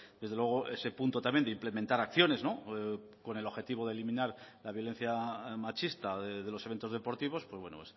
desde luego ese punto también de implementar acciones con el objetivo de eliminar la violencia machista de los eventos deportivos pues bueno